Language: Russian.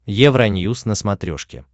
евроньюс на смотрешке